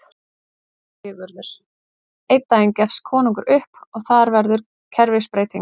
SÉRA SIGURÐUR: Einn daginn gefst konungur upp og þar verður kerfisbreyting!